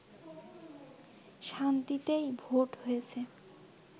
শান্তিতেই vote হয়েছে